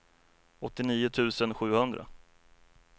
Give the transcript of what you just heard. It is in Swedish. åttionio tusen sjuhundra